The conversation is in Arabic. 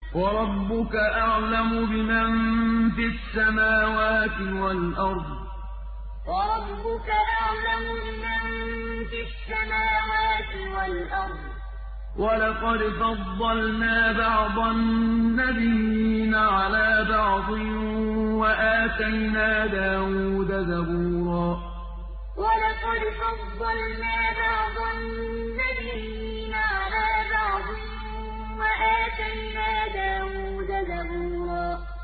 وَرَبُّكَ أَعْلَمُ بِمَن فِي السَّمَاوَاتِ وَالْأَرْضِ ۗ وَلَقَدْ فَضَّلْنَا بَعْضَ النَّبِيِّينَ عَلَىٰ بَعْضٍ ۖ وَآتَيْنَا دَاوُودَ زَبُورًا وَرَبُّكَ أَعْلَمُ بِمَن فِي السَّمَاوَاتِ وَالْأَرْضِ ۗ وَلَقَدْ فَضَّلْنَا بَعْضَ النَّبِيِّينَ عَلَىٰ بَعْضٍ ۖ وَآتَيْنَا دَاوُودَ زَبُورًا